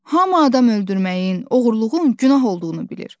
Hamı adam öldürməyin, oğurluğun günah olduğunu bilir.